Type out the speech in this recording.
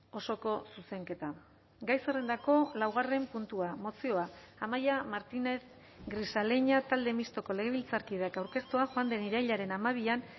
osoko zuzenketa gai zerrendako laugarren puntua mozioa amaia martínez grisaleña talde mistoko legebiltzarkideak aurkeztua joan den irailaren hamabian